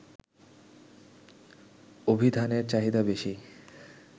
অভিধানের চাহিদা বেশি